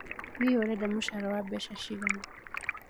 Hihi ũrenda mũcara wa mbeca cigana?